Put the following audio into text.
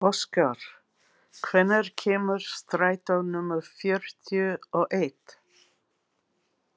Óskar, hvenær kemur strætó númer fjörutíu og eitt?